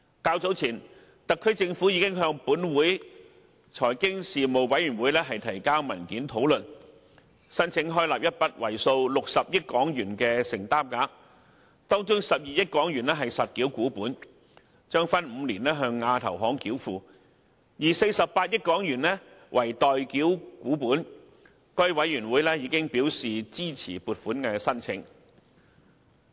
較早前，特區政府已向本會財經事務委員會提交討論文件，申請開立一筆為數60億港元的承擔額，當中12億港元為實繳股本，將分5年向亞投行繳付，另外48億港元則為待繳股本，該委員會亦已表示支持撥款申請。